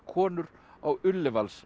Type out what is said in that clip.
konur á